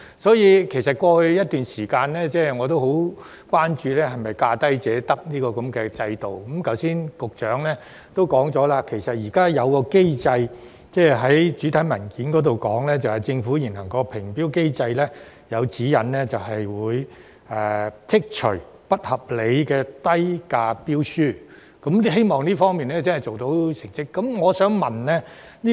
所以，在過去一段時間，我其實很關注當局有否實行"價低者得"的原則，但局長剛才已在主體答覆說明，政府的現行評標機制已訂有指引，會剔除出價低得不合理的標書，我希望在這方面可做出一些成績。